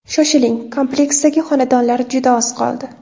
Shoshiling, kompleksdagi xonadonlar juda oz qoldi.